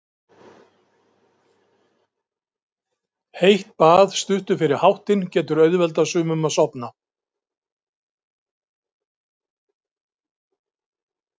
Heitt bað stuttu fyrir háttinn getur auðveldað sumum að sofna.